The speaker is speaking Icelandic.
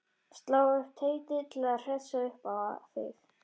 Slá upp teiti til að hressa upp á þig.